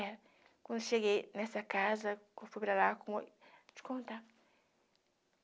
É. Quando cheguei nessa casa, eu fui para lá com oi... Te contar.